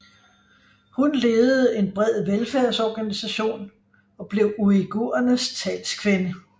Hun ledede en bred velfærdsorganisation og blev uighurenes talskvinde